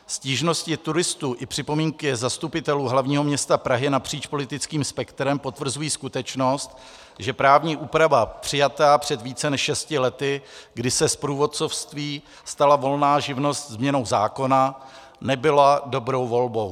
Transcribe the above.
Stížnosti turistů i připomínky zastupitelů hlavního města Prahy napříč politickým spektrem potvrzují skutečnost, že právní úprava přijatá před více než šesti lety, kdy se z průvodcovství stala volná živnost změnou zákona, nebyla dobrou volbou.